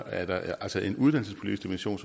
er der altså en uddannelsespolitisk dimension